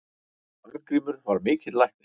Arngrímur var mikill læknir.